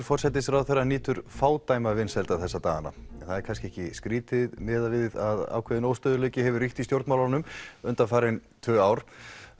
forsætisráðherra nýtur fádæma vinsælda þessa dagana en það er kannski ekki skrítið miðað við að ákveðinn óstöðugleiki hefur ríkt í stjórnmálunum undanfarin tvö ár